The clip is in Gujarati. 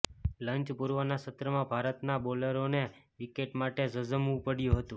લંચ પૂર્વેના સત્રમાં ભારતના બોલરોને વિકેટ માટે ઝઝૂમવું પડ્યું હતું